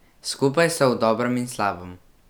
Skupaj so v dobrem in slabem.